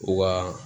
Wa